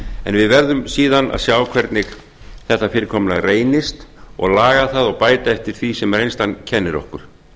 við verðum síðan að sjá hvernig þetta fyrirkomulag reynist og laga það og bæta eftir því sem reynslan kennir okkur